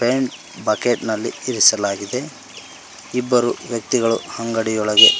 Paint bucket ನಲ್ಲಿ ಇರಿಸಲಾಗಿದೆ ಇಬ್ಬರು ವ್ಯಕ್ತಿಗಳು ಅಂಗಡಿ ಒಳಗೆ.